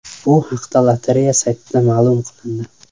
Bu haqda lotereya saytida ma’lum qilindi .